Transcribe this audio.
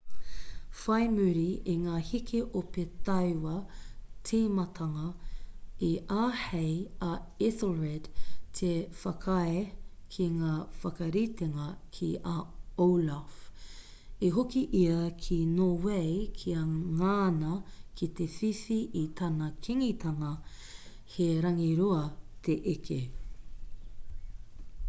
whai muri i ngā heke ope tauā tīmatanga i āhei a ethelred te whakaae ki ngā whakaritenga ki a olaf i hoki ia ki nōwei kia ngana ki te whiwhi i tana kīngitanga he rangirua te eke